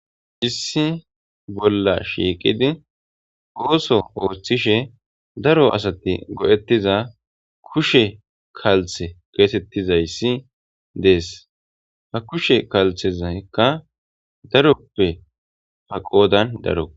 issi bolla shiiqidi ooso ooththishe daro asati go'ettiza kushe kalththe geetettizayssi dees. ha kushe kalthezakka daroppe ha qoodan daro.